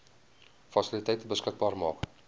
fasiliteite beskikbaar maak